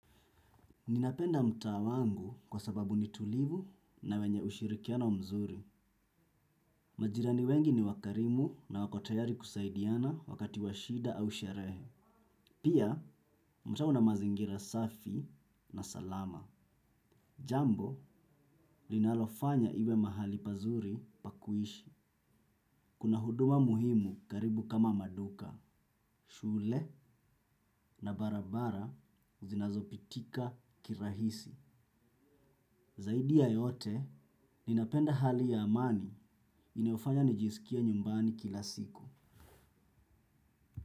Ninapenda mtaa wangu kwa sababu ni tulivu na wenye ushirikiano mzuri. Majirani wengi ni wakarimu na wako tayari kusaidiana wakati wa shida au sherehe. Pia, mtaa una mazingira safi na salama. Jambo, linalofanya iwe mahali pazuri pa kuishi. Kuna huduma muhimu karibu kama maduka, shule na barabara zinazopitika kirahisi. Zaidi ya yote, ninapenda hali ya amani inayofanya nijisikie nyumbani kila siku.